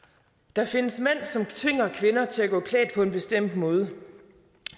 der findes mænd som tvinger kvinder til at gå klædt på en bestemt måde